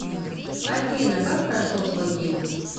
афина как прошел твой день